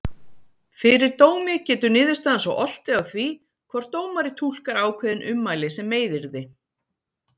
Fyrir dómi getur niðurstaðan svo oltið á því hvort dómari túlkar ákveðin ummæli sem meiðyrði.